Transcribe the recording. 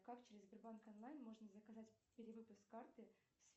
как через сбербанк онлайн можно заказать перевыпуск карты